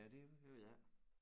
Ja det ved jeg ikke